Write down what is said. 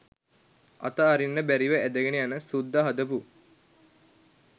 අත අරින්න බැරිව ඇදගෙන යන සුද්ද හදපු